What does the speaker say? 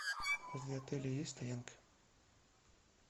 возле отеля есть стоянка